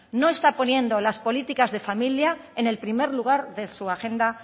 no está poniendo las políticas de familia en el primer lugar de su agenda